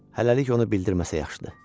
Hələlik onu bildirməsə yaxşıdır.